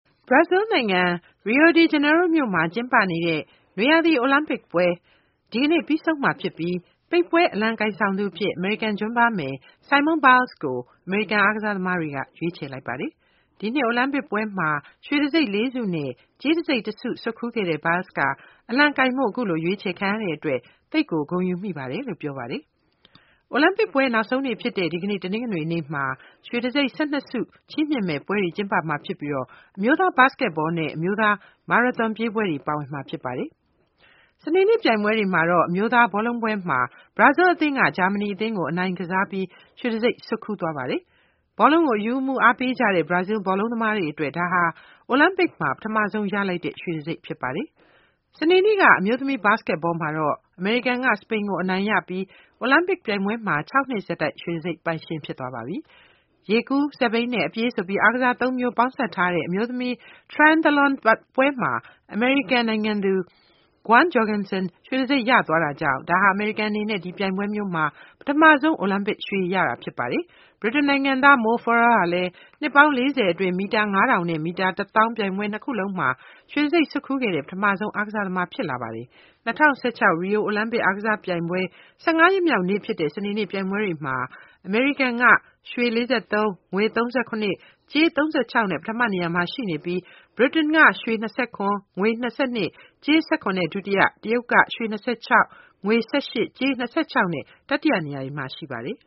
ဘရာဇီးလ်နိုင်ငံ၊ Rio De Janeiro မြို့မှာကျင်းပနေတဲ့ နွေရာသီ အိုလံပစ်ပွဲ ဒီနေ့ပြီးဆုံးမှာဖြစ်ပြီး ပိတ်ပွဲအလံကိုင်ဆောင်သူအဖြစ် အမေရိကန် ဂျွမ်းဘားမယ် Simone Biles ကို အမေရိကန်အားကစားသမားတွေက ရွေးချယ်လိုက်ပါတယ်။ ဒီနှစ် အိုလံပစ်ပွဲမှာ ရွှေတံဆိပ်လေးဆုနဲ့ ကြေးတံဆိပ်တဆု ဆွတ်ခူးခဲ့တဲ့ Biles ကအလံကိုင်ဖို့ ခုလိုရွေးချယ်ခံရတဲ့အတွက် သိပ်ကို ဂုဏ်ယူမိပါတယ်လို့ပြောပါတယ်။ အိုလံပစ်ပွဲ နောက်ဆုံးနေ့ဖြစ်တဲ့ ဒီကနေ့ တနင်္ဂနွေနေ့မှာတော့ ရွေတံဆိပ် ၁၂ ဆုချီးမြှင့်မယ့်ပွဲတွေ ကျင်းပမှာဖြစ်ပြီး အမျိုးသား ဘတ်စကက်ဘောနဲ့ အမျိုးသား မာရသွန်ပြေးပွဲတွေပါဝင်မှာဖြစ်ပါတယ်။ စနေနေ့ ပြိုင်ပွဲတွေမှာတော့ အမျိုးသားဘောလုံးပွဲမှာ ဘရာဇီးလ်အသင်းက ဂျာမဏီသင်းကိုအနိုင်ကစားပြီး ရွှေတံဆိပ်ဆွတ်ခူးသွားပါတယ်။ ဘောလုံးကို အရူးအမူးအားပေးကြတဲ့ ဘရာဇီးလ်ဘောလုံးသမားတွေအတွက် ဒါဟာအိုလံပစ်မှာ ပထမဆုံးရလိုက်တဲ့ ရွှေတံဆိပ်ဖြစ်ပါတယ်။ စနေနေ့က အမျိုးသမီး ဘတ်စကက်ဘောမှာတော့ အမေရိကန်က စပိန်ကို အနိုင်ရပြီး အိုလံပစ်ပြိုင်ပွဲမှာ ၆ နှစ်ဆက်တိုက် ရွှေတံဆိပ်ပိုင်ရှင် ဖြစ်သွားပါပြီ။ ရေကူး၊ စက်ဘီးနဲ့ အပြေး ဆိုပြီး အားကစားသုံးမျိုးပေါင်းစပ်ထားတဲ့အမျိုးသမီး Triathlon ပွဲမှာလည်း အမေရိကန်သူ Gwen Jorgensen ရွှေတံဆိပ်ရသွားကြောင့် ဒါဟာ အမေရိကန် အနေနဲ့ ဒီပြိုင်ပွဲမျိုးမှာ ပထမဆုံး အိုလံပစ် ရွှေရတာဖြစ်ပါတယ်။ ။ ဗြိတိန်နိုင်ငံသား Mo Farah ကလည်းနှစ်ပေါင်းလေးဆယ်အတွင်း မီတာ ၅ထောင် နဲ့ မီတာ တသောင်း ပြိုင်ပွဲ ၂ ခုလုံးမှာ ရွှေတံဆိပ်ဆွတ်ခူးခဲ့တဲ့ ပထမဆုံးအားကစားသမားဖြစ်လာပါတယ်။ ၂၀၁၆ Rio အိုလံပစ် အားကစား ပြိုင်ပွဲ ၁၅ ရက်မြောက်နေ့ ဖြစ်တဲ့ စနေနေ့ ပြိုင်ပွဲတွေမှာ အမေရိကန်က ရွှေ ၄၃၊ ငွေ ၃၇၊ ကြေး ၃၆ နဲ့ ပထမနေရာမှာ ရှိနေပြီး ဗြိတိန်နိုင်ငံက ရွှေ ၂၇၊ ငွေ ၂၂၊ ကြေး ၁၇ နဲ့ ဒုတိယ။ တရုတ်က ရွှေ ၂၆၊ ငွေ ၁၈၊ ကြေး ၂၆ နဲ့ တတိယ နေရာတွေမှာ ရှိပါတယ်